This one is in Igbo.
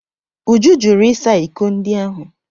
Uju jụrụ ịsa iko ndị ahụ.